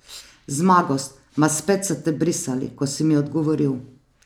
Zmagos, ma spet so te brisali, ko si mi odgovoril.